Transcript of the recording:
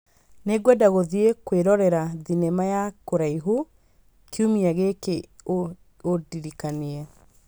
Nĩngwenda gũthiĩ kwĩrorera thenema ya kũraihu kiumia gĩkĩ ũndirikanie